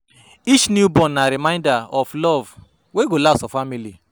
Each newborn na reminder of love wey go last for family.